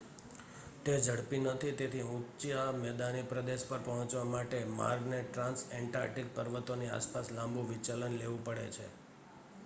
તે ઝડપી નથી તેથી ઊંચા મેદાની પ્રદેશ પર પહોંચવા માટે માર્ગ ને ટ્રાન્સએન્ટાર્કટિક પર્વતોની આસપાસ લાંબુ વિચલન લેવું પડે છે